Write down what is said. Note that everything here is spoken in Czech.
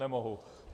Nemohu.